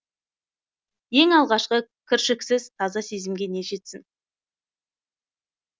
ең алғашқы кіршіксіз таза сезімге не жетсін